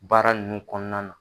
Baara nun kɔnɔna na.